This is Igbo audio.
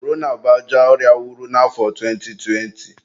Korona bụ ajọ ọrịa wuru na afọ 2020.